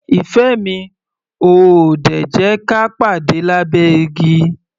Ìfẹ́ mi, o ò ò dè jẹ́ ka pàde lábẹ́ igi?